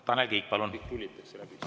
Tanel Kiik, palun!